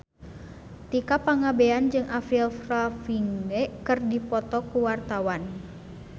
Tika Pangabean jeung Avril Lavigne keur dipoto ku wartawan